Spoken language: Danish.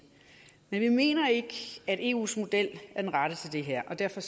men vi mener ikke at eus model er den rette til det her og derfor